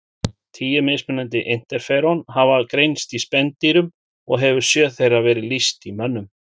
Tíu mismunandi interferón hafa greinst í spendýrum og hefur sjö þeirra verið lýst í mönnum.